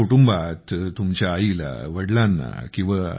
तुमच्या कुटुंबात तुमच्या आईला वडीलांना